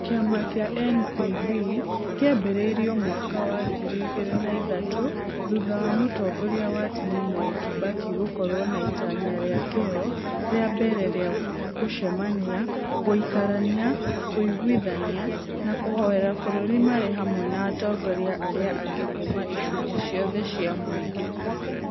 Kĩama kĩa NPB kĩambĩrĩirio mwaka wangiri igĩri na ithatũ thutha wa Mũtongoria wa tene Mwai Kibaki gũkorwo na itanya rĩa kĩo rĩa mbere rĩa kũcemania, gũikarania, kũiguithania na kũhoera bũrũri marĩ hamwe na atongoria arĩa angĩ kuuma icunjĩ ciothe cia mũingĩ.